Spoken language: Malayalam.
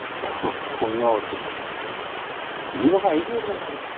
ഒന്നുആവത്തില്ല ഇനീപ്പോ ഫൈവ് ജി വരുന്നുണ്ടല്ലോ